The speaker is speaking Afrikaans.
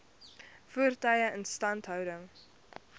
voertuie instandhouding